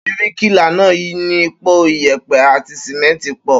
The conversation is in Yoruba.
Bíríkìlà náà ni po ìyẹ̀pẹ̀ àti sìmẹ́ńtì pọ̀.